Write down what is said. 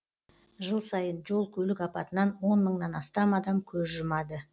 жыл сайын жол көлік апатынан он мыңнан астам адам көз жұмады